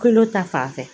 Kolo ta fan fɛ